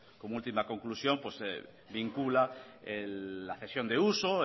como última conclusión vincula la cesión de uso